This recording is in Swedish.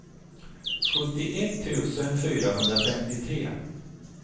sjuttioett tusen fyrahundrafemtiotre